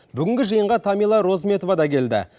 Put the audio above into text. бүгінгі жиынға тамила розметова да келді